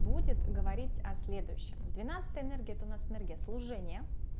будет говорить о следующем двенадцатая энергия это у нас энергия служения